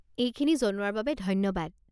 এইখিনি জনোৱাৰ বাবে ধন্যবাদ।